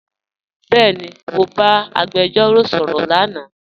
Bẹẹni, Mọ ba agbẹjọro sọrọ lánà.